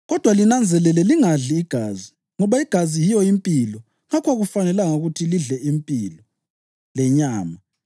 Kodwa linanzelele lingadli igazi, ngoba igazi yiyo impilo ngakho akufanelanga ukuthi lidle impilo lenyama.